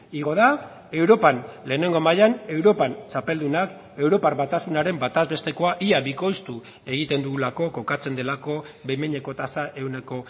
igo da europan lehenengo mailan europan txapeldunak europar batasunaren bataz bestekoa ia bikoiztu egiten dugulako kokatzen delako behin behineko tasa ehuneko